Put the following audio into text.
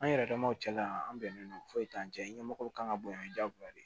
An yɛrɛ damaw cɛla la yan an bɛnnen don foyi t'an cɛ ɲɛmɔgɔw kan ka bonya jagoya de